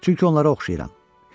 Çünki onlara oxşayıram.